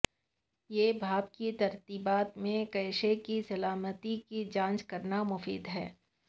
یہ بھاپ کی ترتیبات میں کیشے کی سالمیت کی جانچ کرنا مفید ہے